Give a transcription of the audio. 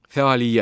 Fəaliyyət.